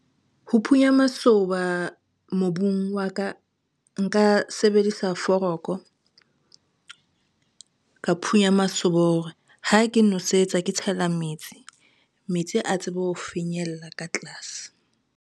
Ho phunya masoba mobung wa ka, nka sebedisa foroko. Ka phunya masoba hore ha ke nosetsa ke tshela metsi, metsi a tsebe ho finyella ka tlase.